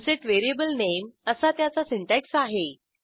unset variablenameअसा त्याचा syntax आहे